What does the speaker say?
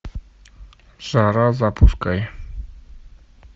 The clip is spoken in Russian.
жара запускай